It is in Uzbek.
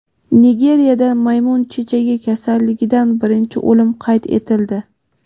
Nigeriyada maymun chechagi kasalligidan birinchi o‘lim qayd etildi.